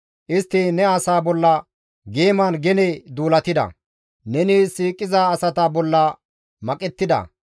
Istti ne asa bolla geeman gene duulatida; neni siiqiza asata bolla maqettida.